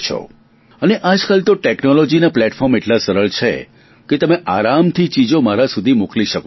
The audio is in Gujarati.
અને આજકાલ તો ટેકનોલોજીના પ્લેટફોર્મ એટલા સરળ છે કે તમે આરામથી ચીજો મારા સુધી મોકલી શકો છો